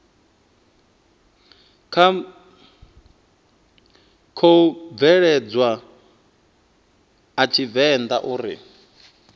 khou bveledzwa a tshivenḓa uri